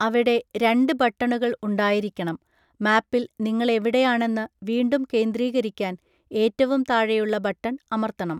അവിടെ രണ്ട് ബട്ടണുകൾ ഉണ്ടായിരിക്കണം; മാപ്പിൽ നിങ്ങൾ എവിടെയാണെന്ന് വീണ്ടും കേന്ദ്രീകരിക്കാൻ ഏറ്റവും താഴെയുള്ള ബട്ടൺ അമർത്തണം.